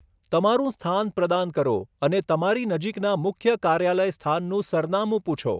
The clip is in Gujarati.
તમારું સ્થાન પ્રદાન કરો અને તમારી નજીકના મુખ્ય કાર્યાલય સ્થાનનું સરનામું પૂછો.